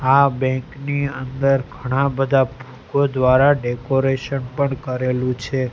આ બેંક ની અંદર ઘણા બધા ફૂલો દ્વારા ડેકોરેશન પણ કરેલું છે.